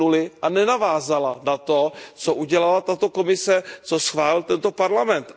od nuly a nenavázaly na to, co udělala tato Komise, co schválil tento Parlament.